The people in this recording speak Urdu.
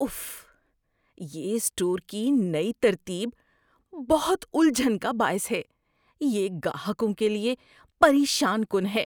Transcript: اف، یہ اسٹور کی نئی ترتیب بہت الجھن کا باعث ہے۔ یہ گاہکوں کے لیے پریشان کن ہے۔